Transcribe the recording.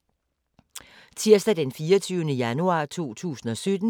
Tirsdag d. 24. januar 2017